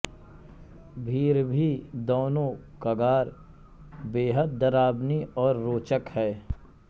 भिरभी दौनो कगार बेहद डरावनी और रोचक है